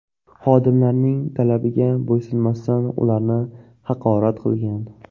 xodimlarning talabiga bo‘ysunmasdan, ularni haqorat qilgan.